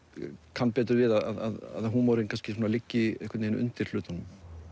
kann betur við að húmorinn kannski liggur einhvern veginn undir hlutunum